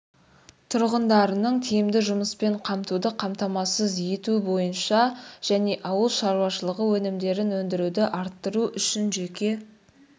тұрғындарының тиімді жұмыспен қамтуды қамтамасыз ету бойынша және ауыл шаруашылығы өнімдерін өндіруді арттыру үшін жеке